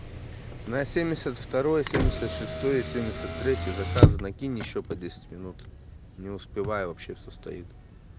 на семьдесят второй семьдесят шестой семьдесят третий заказано кинь ещё по десять минут не успеваю вообще всё стоит